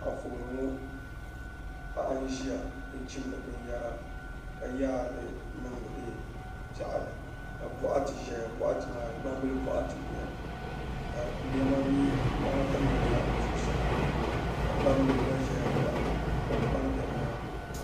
Anfooni paɣa n ʒiya n chimdi bin yara ka yaari li niŋdi piɛɣu ni ka bɔɣati ʒɛya bɔɣati maa gbambila bɔɣati n nyɛli ka ŋmana tam o zuɣu saa ka gbambila gba ʒɛya ka kpam bɛ di maa ni.